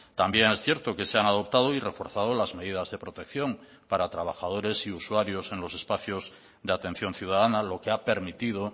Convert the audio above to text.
también es cierto que se han adoptado y reforzado las medidas de protección para trabajadores y usuarios en los espacios de atención ciudadana lo que ha permitido